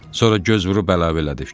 Sonra göz vurub əlavə elədi.